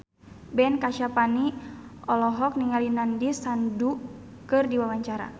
Ben Kasyafani olohok ningali Nandish Sandhu keur diwawancara